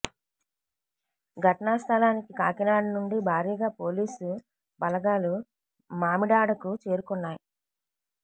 ఘటనా స్థలానికి కాకినాడ నుండి భారీగా పోలీసు బలగాలు మామిడాడకు చేరుకున్నాయి